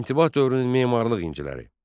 İntibah dövrünün memarlıq inciləri.